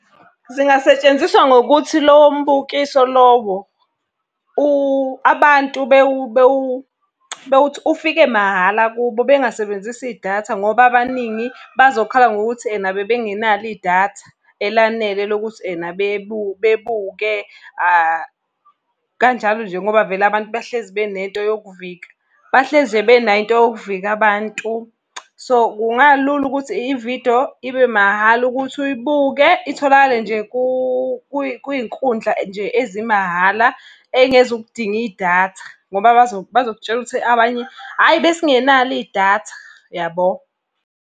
Zingasetshenziswa ngokuthi lowo mbukiso lowo abantu ufike mahhala kubo bengasebenzisi idatha ngoba abaningi bazokhala ngokuthi ena bebe ngenalo idatha elanele lokuthi ena bebuke . Kanjalo nje ngoba vele abantu bahlezi benento yokuvika, bahleze benayo into yokuvika abantu. So, kungalula ukuthi ividiyo ibe mahhala ukuthi uyibuke, itholakale nje kuy'nkundla ezimahhala ey'ngezukudinga idatha ngoba bazokutshela ukuthi abanye, hhayi besingenalo idatha yabo.